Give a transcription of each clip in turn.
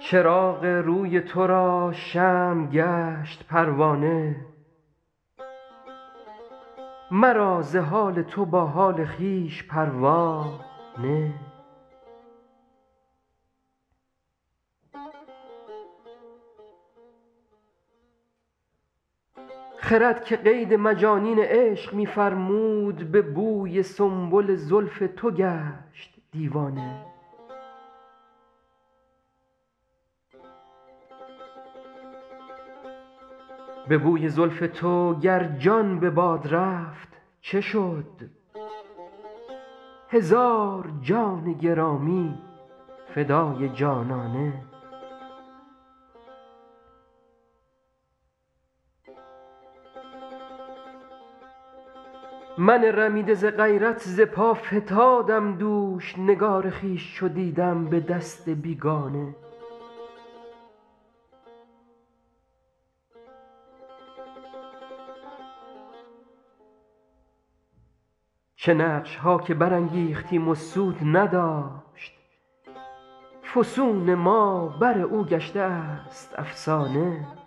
چراغ روی تو را شمع گشت پروانه مرا ز حال تو با حال خویش پروا نه خرد که قید مجانین عشق می فرمود به بوی سنبل زلف تو گشت دیوانه به بوی زلف تو گر جان به باد رفت چه شد هزار جان گرامی فدای جانانه من رمیده ز غیرت ز پا فتادم دوش نگار خویش چو دیدم به دست بیگانه چه نقش ها که برانگیختیم و سود نداشت فسون ما بر او گشته است افسانه بر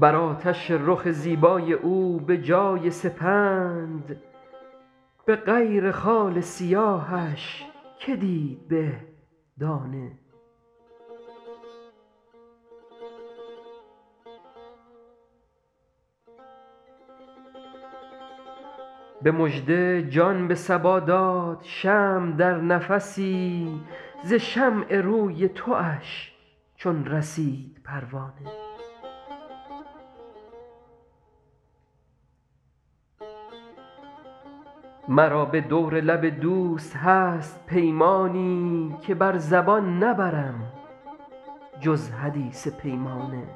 آتش رخ زیبای او به جای سپند به غیر خال سیاهش که دید به دانه به مژده جان به صبا داد شمع در نفسی ز شمع روی تواش چون رسید پروانه مرا به دور لب دوست هست پیمانی که بر زبان نبرم جز حدیث پیمانه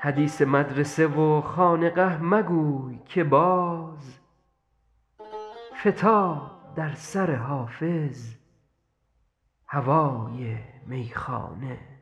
حدیث مدرسه و خانقه مگوی که باز فتاد در سر حافظ هوای میخانه